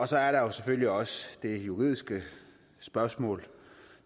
så er der selvfølgelig også det juridiske spørgsmål